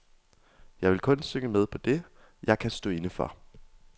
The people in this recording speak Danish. Jeg vil kun synge med på det, jeg kan stå inde for.